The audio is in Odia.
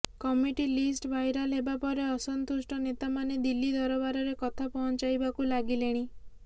କମିଟି ଲିଷ୍ଟ ଭାଇରାଲ ହେବା ପରେ ଅସନ୍ତୁଷ୍ଟ ନେତାମାନେ ଦିଲ୍ଲୀ ଦରବାରରେ କଥା ପହଂଚାଇବାକୁ ଲାଗିଲେଣି